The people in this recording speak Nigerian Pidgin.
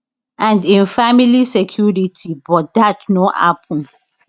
and im family security but dat no happun